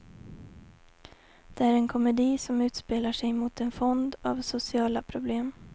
Det är en komedi som utspelar sig mot en fond av sociala problem.